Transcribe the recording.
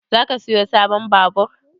Zaka siyo sabon babur?